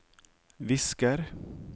visker